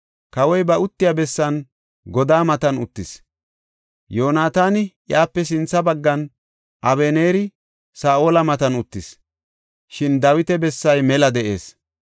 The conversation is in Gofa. Kawoy ba uttiya bessan godaa matan uttis; Yoonataani iyape sintha baggan, Abeneeri Saa7ola matan uttis; shin Dawita bessay mela de7ees.